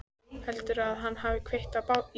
Heldurðu að hann hafi kveikt í bátnum?